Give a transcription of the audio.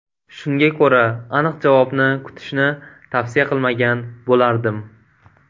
Shunga ko‘ra aniq javobni kutishni tavsiya qilmagan bo‘lardim.